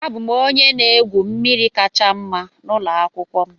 Abụ m onye na-egwu mmiri kacha mma n'ụlọ akwụkwọ m